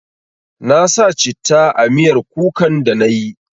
Na sa citta a miyar kukan da na yi